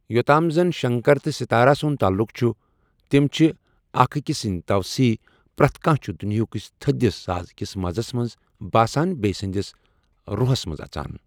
یوٚتام زَن شنکر تہٕ ستارا سُنٛد تعلق چھُ ، تِم چھِ اکھ أکِس سٕنٛدۍ توسیٖع، پرٛٮ۪تھ کانٛہہ چھُ دُنیہکِس تھٔدِس ساز کِس مزس منٛز باسان بیِٚیِہ سٕنٛدِس رُحس منٛز اژان۔